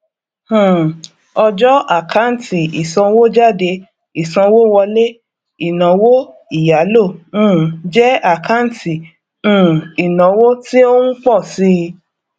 um ọjọ àkáǹtì ìsanwójáde ìsanwówọlé inawo ìyálò um jẹ àkáǹtì um ìnáwó tí ó ń ń pọ síi